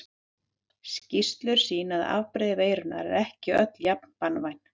Skýrslur sýna að afbrigði veirunnar eru ekki öll jafn banvæn.